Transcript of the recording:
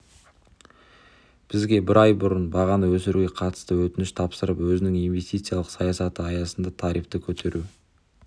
бізге бір ай бұрын бағаны өсіруге қатысты өтініш тапсырып өзінің инвестициялық саясаты аясында тарифті көтеру